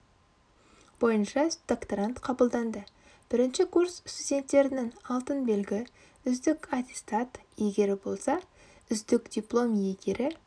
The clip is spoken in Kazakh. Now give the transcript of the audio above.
бойынша докторант қабылданды бірінші курс студенттерінің алтын белгі үздік аттестат иегері болса үздік диплом иегері